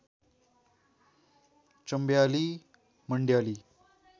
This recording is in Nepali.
चम्बयाली मन्डयाली